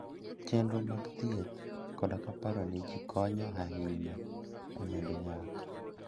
Chenro mag thieth koda paro ne ji konyo ahinya e medo nyak.